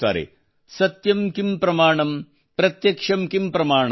ಸತ್ಯಂ ಕಿಂ ಪ್ರಮಾಣಮ್ ಪ್ರತ್ಯಕ್ಷಂ ಕಿಂ ಪ್ರಮಾಣಮ್